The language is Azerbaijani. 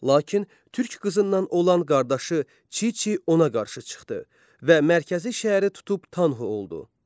Lakin türk qızından olan qardaşı Çiçi ona qarşı çıxdı və Mərkəzi şəhəri tutub Tanhu oldu.